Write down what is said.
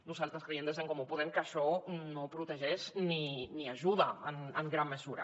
nosaltres creiem des d’en comú podem que això no protegeix ni ajuda en gran mesura